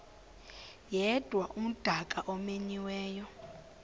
yedwa umdaka omenyiweyo